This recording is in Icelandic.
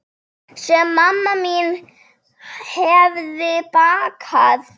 Sem mamma mín hefði bakað.